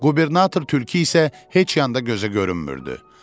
Qubernator tülkü isə heç yanda gözə görünmürdü.